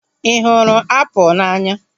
Ị hụrụ apụl n'anya?